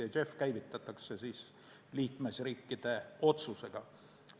JEF käivitatakse liikmesriikide otsusega.